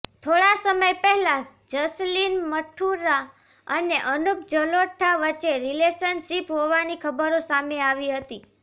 થોડા સમય પહેલા જસલીન મઠારૂ અને અનુપ જલોટા વચ્ચે રિલેશનશીપ હોવાની ખબરો સામે આવી હતી